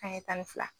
An ye tan ni fila